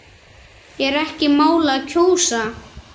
Er ekki málið að kjósa?